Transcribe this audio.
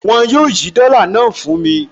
Wọn yóò yí dọ́là náà fún mi